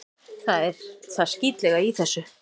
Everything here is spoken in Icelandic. Það er það skítlega í þessu.